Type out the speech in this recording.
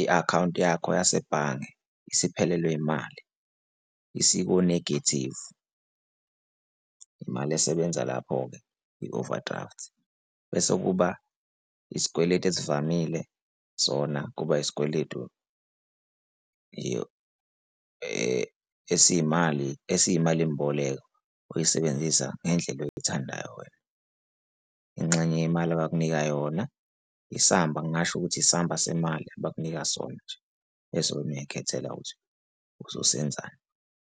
i-akhawunti yakho yasebhange isiphelelwe imali, isiku-negative, imali esebenza lapho-ke i-overdraft. Bese kuba isikweletu esivamile sona, kuba isikweletu esiyimali, esiyimalimboleko oyisebenzisa ngendlela oyithandayo wena. Ingxenye yemali abakunika yona isamba ngingasho ukuthi isamba semali abakunika sona nje bese wena uyay'khethela ukuthi uzosenzani.